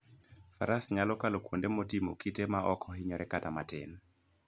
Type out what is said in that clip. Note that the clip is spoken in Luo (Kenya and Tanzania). Faras nyalo kalo kuonde motimo kite maok ohinyore kata matin.